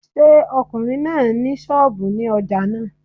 Ṣé ọkùnrin náà ni sọ́ọ̀bù nínú ojà náà?